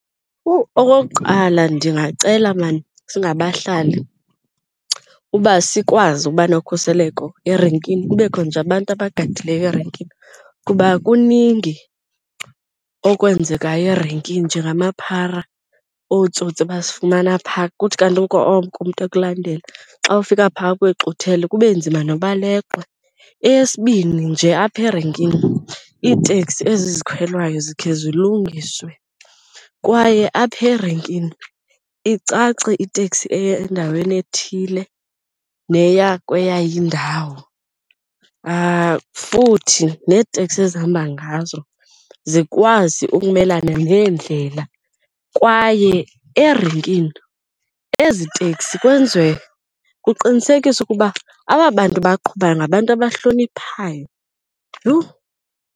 Oh, okokuqala ndingacela maan singabahlali uba sikwazi uba nokhuseleko erenkini, kubekho nje abantu abagada yileyo erenkini kuba kuningi okwenzekayo erenkini njengamaphara, ootsotsi basifumana phaa. Kuthi kanti oko umntu ekulandela, xa ufika phaa akwexuthele kube nzima noba uleqwe. Eyesibini nje apha erenkini, iitekisi ezi zikhwelwayo zikhe zilungiswe kwaye apha erenkini icace itekisi eya endaweni ethile neya kweyayo indawo. Futhi neeteksi ezihamba ngazo zikwazi ukumelana neendlela. Kwaye erenkini ezi teksi kwenziwe kuqinisekiswe ukuba aba bantu baqhubayo ngabantu abahloniphayo, yhu!